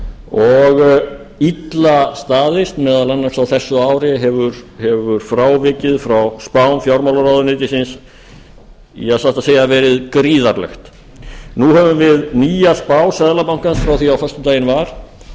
og illa staðist meðal annars á þessu ári hefur frávikið frá spám fjármálaráðuneytisins satt að segja verið gríðarlegt nú höfum við nýja spá seðlabankans frá því á föstudaginn var og